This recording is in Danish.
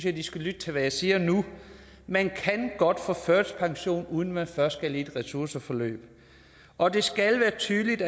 at de skal lytte til hvad jeg siger nu man kan godt få førtidspension uden at man først skal i et ressourceforløb og det skal være tydeligt